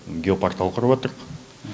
геопортал құрыватырық